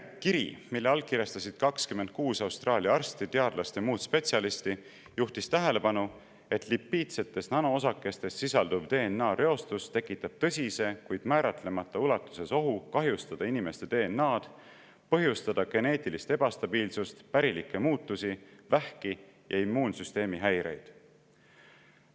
Kiri, mille allkirjastasid 26 Austraalia arsti, teadlast ja muud spetsialisti, juhtis tähelepanu sellele, et lipiidsetes nanoosakestes sisalduv DNA-reostus tekitab tõsise, kuid määratlemata ulatuses ohu kahjustada inimeste DNA-d ning põhjustada geneetilist ebastabiilsust, pärilikke muutusi, vähki ja immuunsüsteemi häireid.